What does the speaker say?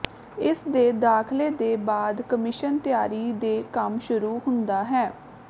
ਇਸ ਦੇ ਦਾਖਲੇ ਦੇ ਬਾਅਦ ਕਮਿਸ਼ਨ ਤਿਆਰੀ ਦੇ ਕੰਮ ਸ਼ੁਰੂ ਹੁੰਦਾ ਹੈ